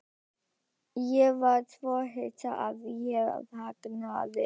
Ég var svo hissa að ég þagnaði.